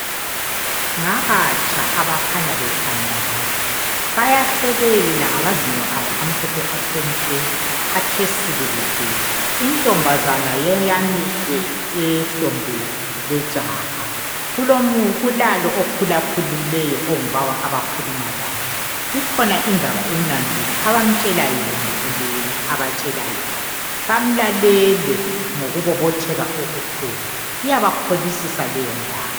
Ngabatsha abakhanya bethandana bayahlekelela ngamazinyo abo amhlophe athe nke bathe sikilici untombazane yeyamile ehlombe lejaha kulalo okhulakhulileyo ongubaba abakhulumalaye ikhona indaba emnandi abamtshela yona kumbe yena abamtshela yona bamlalele ngokubobotheka okukhulu iyabakholisisa leyondaba